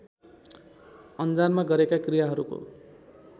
अन्जानमा गरेका क्रियाहरूको